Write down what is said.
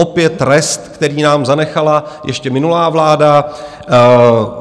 Opět rest, který nám zanechala ještě minulá vláda.